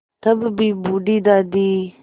तब भी बूढ़ी दादी